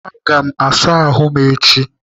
Aga m asa ahụ echi.